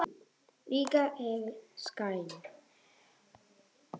Mun hann spila vel?